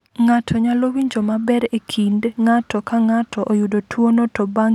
"Ng’ato nyalo winjo maber e kind ng’ato ka ng’ato oyudo tuwono to bang’ kinde nyalo bedo marach ahinya."